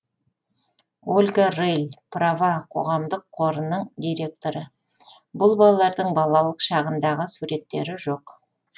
ольга рыль права қоғамдық қорының директоры бұл балалардың балалық шағындағы суреттері жоқ